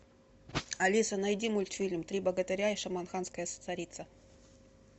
алиса найди мультфильм три богатыря и шамаханская царица